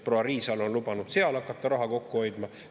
Proua Riisalo on lubanud seal hakata raha kokku hoidma.